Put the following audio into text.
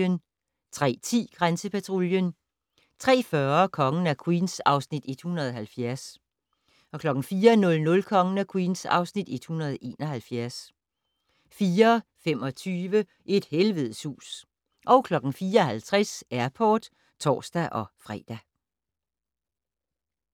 03:10: Grænsepatruljen 03:40: Kongen af Queens (Afs. 170) 04:00: Kongen af Queens (Afs. 171) 04:25: Et helvedes hus 04:50: Airport (tor-fre)